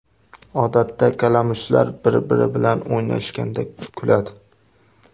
Odatda kalamushlar bir-biri bilan o‘ynashganda kuladi.